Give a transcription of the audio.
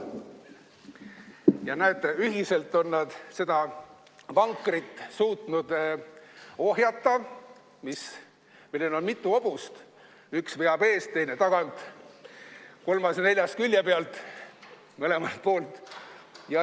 Ja näete, ühiselt on nad suutnud ohjata seda vankrit, millel on mitu hobust – üks veab eest, teine tagant, kolmas ja neljas külje pealt, mõlemalt poolt.